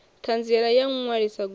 ṱhanziela ya u ṅwalisa goloi